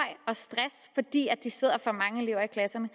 og stress fordi de sidder for mange elever i klasserne